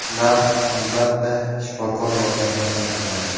Ular, albatta, shifokor yordamida aniqlanadi.